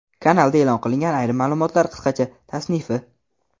Kanalda e’lon qilingan ayrim ma’lumotlar qisqacha tasnifi.